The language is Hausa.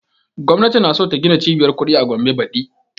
Gwamnati na so ta gina cibiyar kuɗi a gombe badi